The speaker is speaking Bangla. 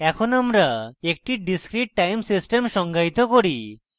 এখন আমরা একটি discrete time system সংজ্ঞায়িত করি